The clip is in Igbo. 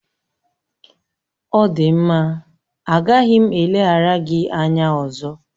Ọ dị mma, agaghị m eleghara gị anya ọzọ